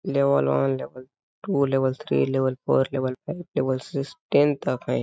Level one level two level three level four level five level six ten तक है।